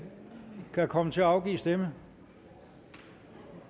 kan komme til at afgive stemme ja